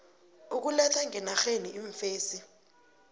ukuletha ngenarheni iimfesi